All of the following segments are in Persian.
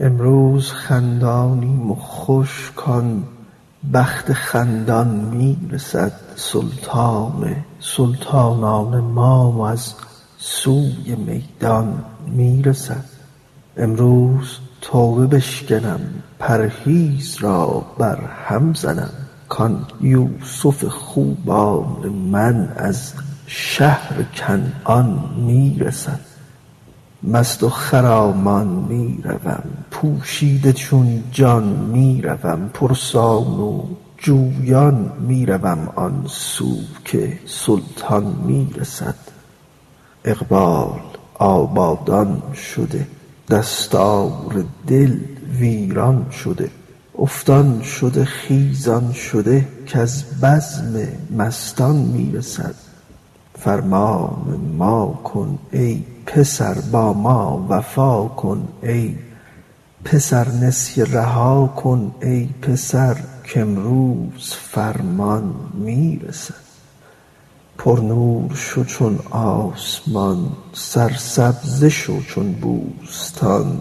امروز خندانیم و خوش کان بخت خندان می رسد سلطان سلطانان ما از سوی میدان می رسد امروز توبه بشکنم پرهیز را برهم زنم کان یوسف خوبان من از شهر کنعان می رسد مست و خرامان می روم پوشیده چون جان می روم پرسان و جویان می روم آن سو که سلطان می رسد اقبال آبادان شده دستار دل ویران شده افتان شده خیزان شده کز بزم مستان می رسد فرمان ما کن ای پسر با ما وفا کن ای پسر نسیه رها کن ای پسر کامروز فرمان می رسد پرنور شو چون آسمان سرسبزه شو چون بوستان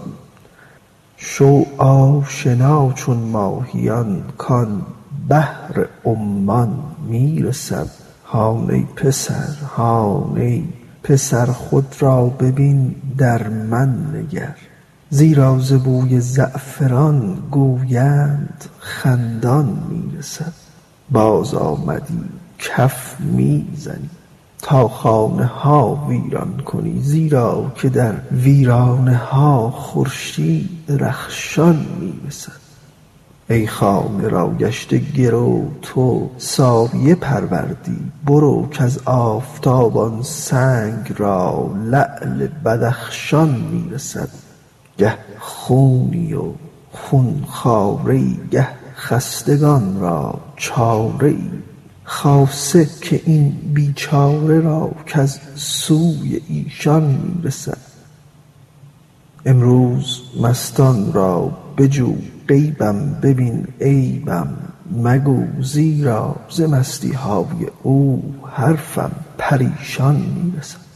شو آشنا چون ماهیان کان بحر عمان می رسد هان ای پسر هان ای پسر خود را ببین در من نگر زیرا ز بوی زعفران گوینده خندان می رسد بازآمدی کف می زنی تا خانه ها ویران کنی زیرا که در ویرانه ها خورشید رخشان می رسد ای خانه را گشته گرو تو سایه پروردی برو کز آفتاب آن سنگ را لعل بدخشان می رسد گه خونی و خون خواره ای گه خستگان را چاره ای خاصه که این بیچاره را کز سوی ایشان می رسد امروز مستان را بجو غیبم ببین عیبم مگو زیرا ز مستی های او حرفم پریشان می رسد